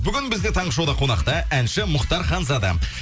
бүгін бізде таңғы шоуда қонақта әнші мұхтар ханзада